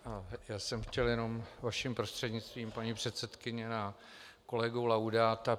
Já jsem chtěl jenom vaším prostřednictvím, paní předsedkyně, na kolegu Laudáta.